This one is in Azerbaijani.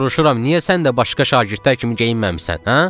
Soruşuram, niyə sən də başqa şagirdlər kimi geyinməmisən, hə?